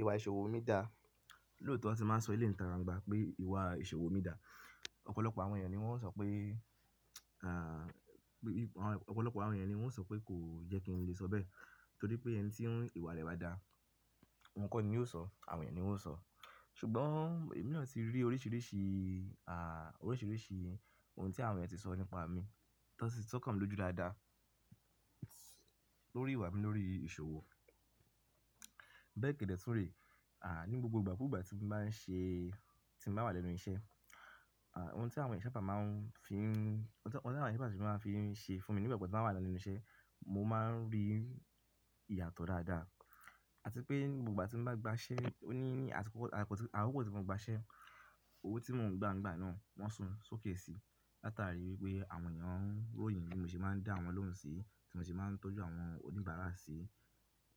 Ìwà ìṣòwò mi dá? Lóòtọ́, tí n bá sọ eleyi ni ìtàgbàngbà pé ìwà ìṣòwò mi dá, ọ̀pọ̀lọpọ̀ àwọn èèyàn ni wọ́n ó sọ pé kò yẹ kí n lè sọ bẹ́ẹ̀ torí pé ẹni tí ìwà rẹ̀ bá dá, ọ̀un kọ́ ni yóò sọ, àwọn èèyàn ni wọ́n ó sọ. Ṣùgbọ́n èmi náà ti rí oríṣiríṣi orisirisi ohun tí àwọn èèyàn ti sọ nípa mi, tan sí sọ́kàn mi lójú dáadáa lórí ìwà mi lórí ìṣòwò. Bẹ́ẹ̀ kẹ̀dẹ̀ tún rè, ní gbogbo ìgbà kúgbà ti ba n se tí mo bá wà lẹ́nu iṣẹ́, ohun tí àwọn eeyan sa bá máa fi ṣe fún mi nígbà gbogbo tí mo wà lẹ́nu iṣẹ́, mo máa ń rí ìyàtọ̀ dáadáa. Àti pé ní gbogbo igba tí mo bá gbaṣẹ́, àkoko tíì mo gbaṣẹ́ owó tí mò ń gba nígbà náà, wọ́n sún sókè sí i látàrí wípé àwọn èèyàn róyìn bí mo ṣe máa ń dá àwọn lohun sí, bí mo ṣe máa ń tọ́jú àwọn oníbàárà sí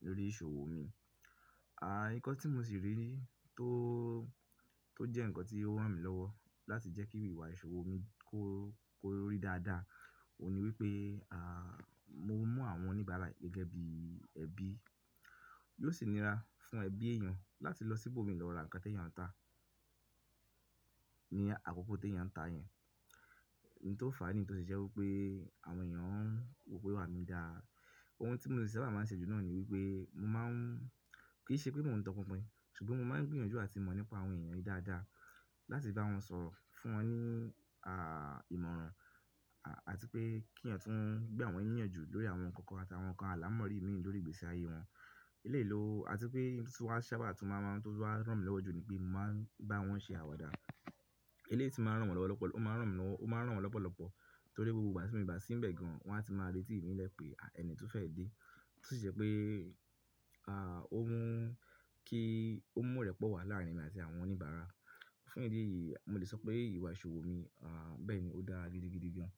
lórí ìṣòwò mi. Ǹkan tí mo sì rí tó jẹ́ ǹkan tí ó rán mi lọ́wọ́ láti jẹ́ kí ìwà ìṣòwò mi kó rí dáadáa, òun ni wípé mo ń mú àwọn oníbàárà gẹ́gẹ́ bí ẹbí. Yóò sì níra fún ẹbí èèyàn láti lọ síbò mi lọ ra ǹkan tí èèyàn ń tà ní àkókò tí èèyàn ń tà yẹn. Ohun tó fà á nì tó se je wipé àwọn èèyàn ń wò pé ìwà mi dá. Ohun tí mo sì sábà máa ń ṣe jù náà ni wípé mo máa ń-- kì í ṣe pé mò ń topinpin, ṣùgbọ́n mo máa ń gbìyànjú àti mọ̀ nípa àwọn èèyàn yìí dáadáa láti bá wọn sọ̀ro fún wọn ní ìmọ̀ràn àti pé kí èèyàn tún gbàwọn niyanju. Lórí àwọn ǹkan kan àti àwọn ǹkan àlàmọ́rí mìí lórí ìgbésí ayé wọn. Eléyi lo, àti pé ohun tí tun wa sábà tún máa ń rán mi lọ́wọ́ jù ni pé mo máa ń bá wọn ṣe àwàdà. Eléyi ti máa ń rán wọn lọ́pọ̀lọpọ̀ torí gbogbo ìgbà tí mo bá sí n bẹ̀ gan, wọ́n á ti máa retí ìnílẹ̀ pé ẹni tó fẹ́ dé, tí ó si je pe ó mú ki o mu irẹ́pọ̀ wá láàrín emi àti àwọn oníbàárà. Fún ìdí èyí, mo lè sọ pé ìwà ìṣòwò mi bẹ́ẹ̀ ni ó dára gídigidi gan.